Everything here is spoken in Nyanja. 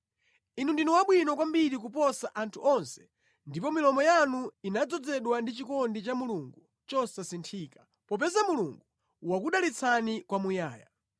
Inu ndinu abwino kwambiri kuposa anthu onse ndipo milomo yanu inadzozedwa ndi chikondi cha Mulungu chosasinthika, popeza Mulungu wakudalitsani kwamuyaya.